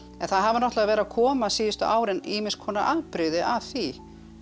en það hafa verið að koma síðustu árin ýmis konar afbrigði af því